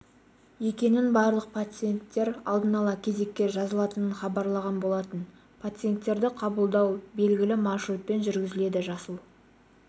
екенін барлық пациенттер алдын ала кезекке жазылатынын хабарлаған болатын пациенттерді қабылдау белгілі маршрутпен жүргізіледі жасыл